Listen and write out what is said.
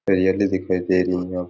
हरियाली दिखाई दे रही है यहां --